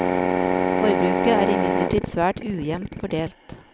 Forbruket er imidlertid svært ujevnt fordelt.